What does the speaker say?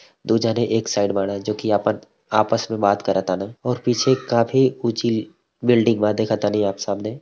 दू जाने एक साइड बाड़न जोकि आपत आपस में बात करतान और पीछे काफी उची बिल्डिंग बा देख तानी आप सामने।